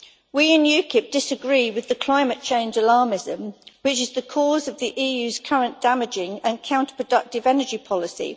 We in UKIP disagree with the climate change alarmism which is the cause of the EU's current damaging and counterproductive energy policy.